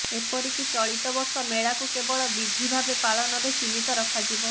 ଏପରି କି ଚଳିତ ବର୍ଷ ମେଳାକୁ କେବଳ ବିଧି ଭାବେ ପାଳନରେ ସୀମିତ ରଖାଯିବ